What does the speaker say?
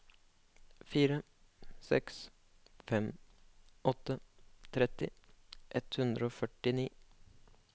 fire seks fem åtte tretti ett hundre og førtini